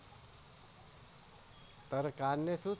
તારે કાં ને શૂ